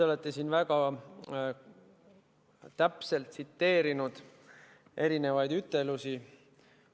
Te olete siin väga täpselt tsiteerinud erinevaid ütelusi.